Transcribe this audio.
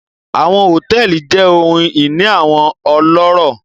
Àwọn hotẹẹli jẹ ohun ini awọn ọlọrọ